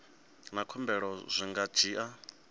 na khumbelo zwi nga dzhia